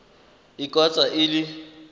e ka tswa e le